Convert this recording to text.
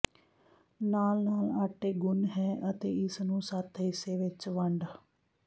ਨਾਲ ਨਾਲ ਆਟੇ ਗੁਨ੍ਹ ਹੈ ਅਤੇ ਇਸ ਨੂੰ ਸੱਤ ਹਿੱਸੇ ਵਿੱਚ ਵੰਡ